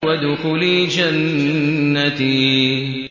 وَادْخُلِي جَنَّتِي